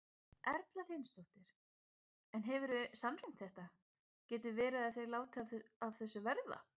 Erla Hlynsdóttir: En hefurðu sannreynt þetta, getur verið að þeir láti af þessu verða?